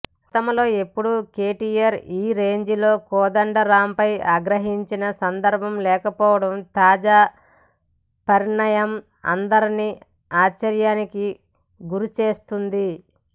గతంలో ఎప్పుడూ కేటీఆర్ ఈ రేంజ్లో కోదండరాంపై ఆగ్రహించిన సందర్భం లేకపోవడం తాజా పరిణామం అందరినీ ఆశ్చర్యానికి గురిచేస్తోంది